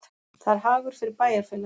Það er hagur fyrir bæjarfélagið